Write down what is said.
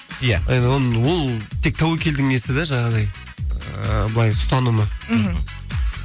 иә ол тек тәуекелдің несі де жаңағыдай ыыы былай ұстанымы мхм